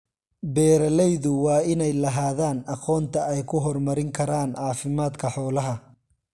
Beeralaydu waa inay lahaadaan aqoonta ay ku horumarin karaan caafimaadka xoolaha.